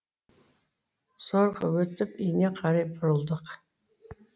зорға өтіп үйіне қарай бұрылдық